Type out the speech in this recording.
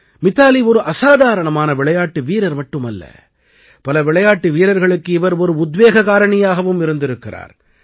மிதாலி ஒரு அசாதாரணமான விளையாட்டு வீரர் மட்டுமல்ல பல விளையாட்டு வீரர்களுக்கு இவர் ஒரு உத்வேக காரணியாகவும் இருந்திருக்கிறார்